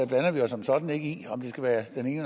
blander vi os som sådan ikke i om det skal være den